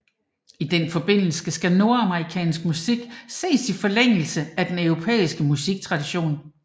I den forbindelse skal nordamerikansk musik ses i forlængelse af den europæiske musiktradition